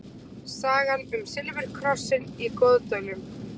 Sagan um silfurkrossinn í Goðdölum.